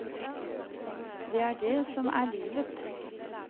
Det er det som er livet.